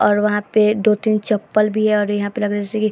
और वहां पे दो-तीन चप्पल भी है और यहाँ पे लग रहा है जैसे की --